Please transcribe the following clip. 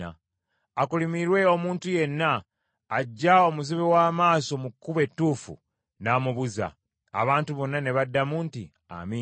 “Akolimirwe omuntu yenna aggya omuzibe w’amaaso mu kkubo ettuufu n’amubuza.” Abantu bonna ne baddamu nti, “Amiina.”